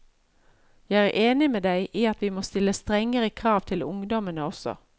Jeg er enig med deg i at vi må stille strengere krav til ungdommene også.